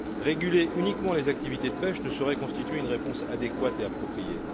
Réguler uniquement les activités de pêche ne saurait constituer une réponse adéquate et appropriée.